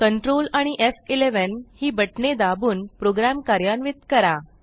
control आणि एफ11 ही बटणे दाबून प्रोग्रॅम कार्यान्वित करा